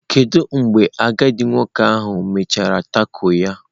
Kedu mgbe agadi nwoke ahụ mechara taco ya?